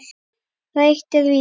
Það eitt er víst.